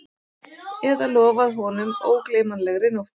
Eða lofað honum ógleymanlegri nótt